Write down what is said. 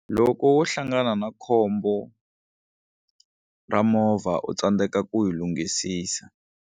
Loko wo hlangana na khombo ra movha u tsandzeka ku yi lunghisisa.